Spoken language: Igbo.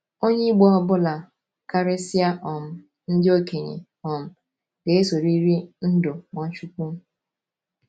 Onye Igbo ọ bụla — karịsịa um ndị okenye um — ga-esoriri ndú Nwachukwu.